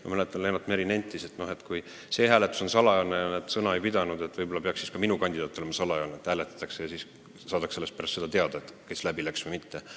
Ma mäletan, et Lennart Meri kommenteeris seda, et kui see hääletus oli salajane ja nad sõna ei pidanud, võib-olla peaks siis ka minu kandidaat olema salajane – hääletatakse ja saadakse alles pärast seda teada, kes läbi läks või kes ei läinud.